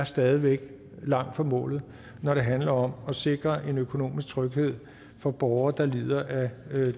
stadig væk er langt fra målet når det handler om at sikre en økonomisk tryghed for borgere der lider af